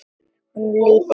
Honum líður illa.